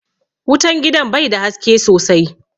Wutan gidan bai da haske sosai